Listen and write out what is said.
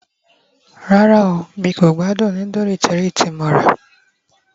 rara n ko gbádùn nudulu Cherie tí mo ra